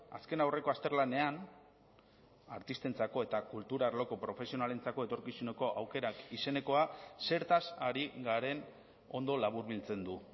azkenaurreko azterlanean artistentzako eta kultur arloko profesionalentzako etorkizuneko aukerak izenekoa zertaz ari garen ondo laburbiltzen du